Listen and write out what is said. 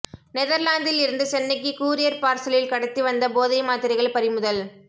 நெதர்லாந்தில் இருந்து சென்னைக்கு கூரியர் பார்சலில் கடத்தி வந்த போதை மாத்திரைகள் பறிமுதல்